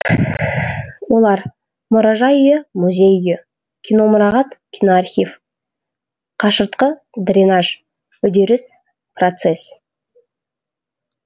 олар мұражай үйі музей үйі киномұрағат киноархив қашыртқы дренаж үдеріс процесс